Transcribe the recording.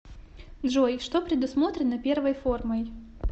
джой что предусмотрено первой формой